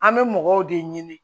An bɛ mɔgɔw de ɲini